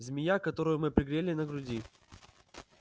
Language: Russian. змея которую мы пригрели на груди